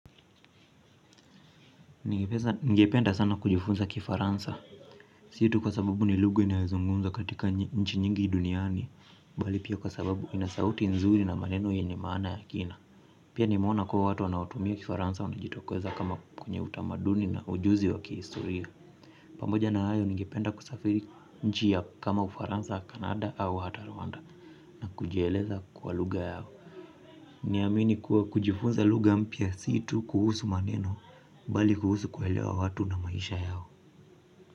Ningependa sana kujifunza kifaransa si tu kwa sababu ni lugha inayozungumza katika nchi nyingi duniani bali pia kwa sababu inasauti nzuri na maneno yenye maana ya kina pia nimeona kuwa watu wanaotumia kifaransa wanajitokeza kama kwenye utamaduni na ujuzi wa kihistoria pamoja na hayo ningependa kusafiri nchi ya kama ufaransa au Canada au hata Rwanda na kujieleza kwa lugha yao na amini kuwa kujifunza lugha mpya situ kuhusu maneno bali kuhusu kuelewa watu na maisha yao.